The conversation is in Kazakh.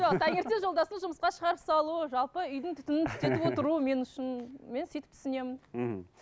жоқ таңертең жолдасым жұмысқа шығарып салу жалпы үйдің түтінін түтетіп отыру мен үшін мен сөйтіп түсінемін мхм